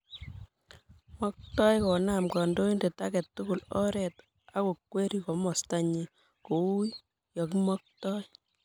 Maktoi konam kandoindet ake tukul oret ak kokwerii komasta nyi kouyo kimaktoi